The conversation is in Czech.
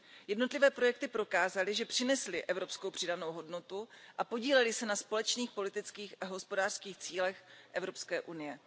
Jednotlivé projekty prokázaly, že přinesly evropskou přidanou hodnotu a podílely se na společných politických a hospodářských cílech Evropské unie.